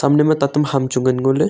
ema tatam ham chu ngan ngo ley.